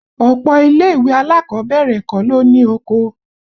Ọ̀pọ̀ ilé ìwé alákọ̀ọ́bẹ̀rẹ̀ kọ́ ló ní oko